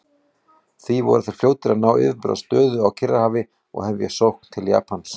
Því voru þeir fljótir að ná yfirburðastöðu á Kyrrahafi og hefja sókn til Japans.